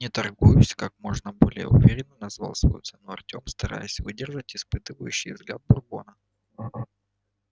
не торгуюсь как можно более уверенно назвал свою цену артем стараясь выдержать испытующий взгляд бурбона